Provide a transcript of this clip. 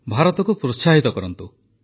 ଭାରତକୁ ପ୍ରୋତ୍ସାହିତ କରନ୍ତୁ